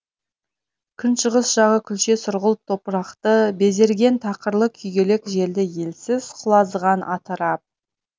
күншығыс жағы күлше сұрғылт топырақты безерген тақырлы күйгелек желді елсіз құлазыған атырап